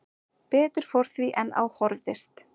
Betur fór því en á horfðist